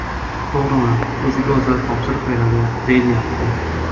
To‘g‘rimi, o‘ziga o‘zi topshiriq beradi, deyilyapti.